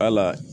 Hala